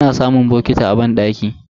Ana samun bokiti a banɗaki.